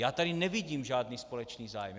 Já tady nevidím žádný společný zájem.